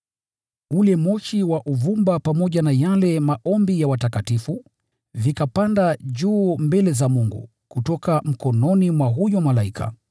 Ule moshi wa uvumba pamoja na yale maombi ya watakatifu, vikapanda juu mbele za Mungu, kutoka mkononi mwa huyo malaika.